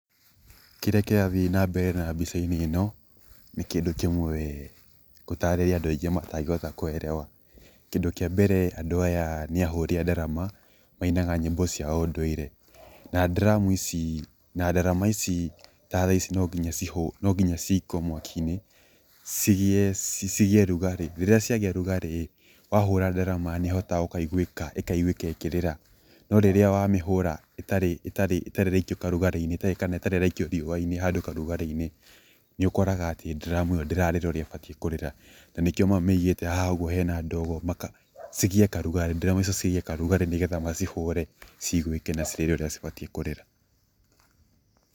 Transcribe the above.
Kĩrĩa kĩrathiĩ na mbere mbica-inĩ ĩno nĩ kĩndũ kĩmwe ngũtarĩria andũ aingĩ matangĩhota kuelewa kĩndũ kĩa mbere andũ aya nĩ ahũri a ndarama mainaga nyĩmbo cia ũndũire na drum ici na ndarama ici ta thaa ici no nginya ciikio mwaka-inĩ cigĩe, cigĩe ũrugarĩ, rĩrĩa ciagĩa ũrugarĩ ĩĩ wahũra ndarama nĩhotaga kũigũĩka ĩkĩrĩra na rĩrĩa wa mĩhũra ĩtarĩ ĩtarĩ ĩraikio kaũrugarĩ-inĩ kana itarĩ ĩraikio riũa-inĩ handũ kaũrugarĩ-inĩ nĩ ũkoraga atĩ drum ĩyo ndĩrarĩra ũrĩa ĩbatie kũrĩra, na nĩkĩo mamĩigĩte haha ũguo hena ndogo maka, cigĩe kaũrugarĩ ndarama icio cigĩe kaũrugarĩ nĩgetha macihũre ciguĩke na cirĩre ũrĩa cibatie kũrĩra.